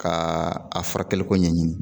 Ka a furakɛli ko ɲɛɲini